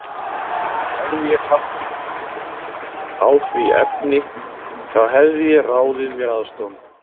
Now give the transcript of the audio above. Hefði ég haft á því efni, þá hefði ég ráðið mér aðstoðarmann.